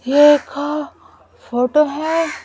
ये एक फोटो है।